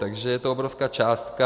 Takže je to obrovská částka.